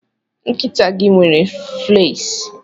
Nkịta gị nwere fleas.